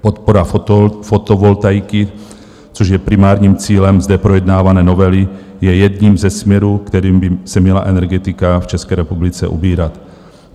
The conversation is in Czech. Podpora fotovoltaiky, což je primárním cílem zde projednávané novely, je jedním ze směrů, kterým by se měla energetika v České republice ubírat.